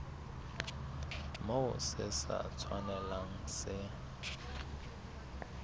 moo se sa tshwanelang se